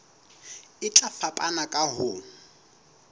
e tla fapana ka ho